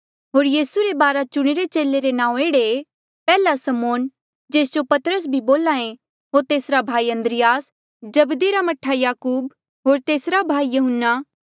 होर यीसू रे बारा चुणिरे चेले रे नांऊँ एह्ड़े ऐें पैहला समौन जेस जो पतरस भी बोल्हा ऐें होर तेसरा भाई अन्द्रियास जब्दी रा मह्ठा याकूब होर तेसरा भाई यहून्ना